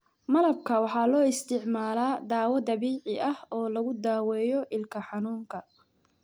Malabka waxaa loo isticmaalaa dawo dabiici ah oo lagu daweeyo ilka xanuunka.